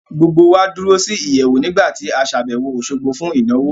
Gbogbo wá dúró sí ìyẹ̀wù nígbà tí a ṣàbẹ̀wò Òṣogbo fún ìnáwó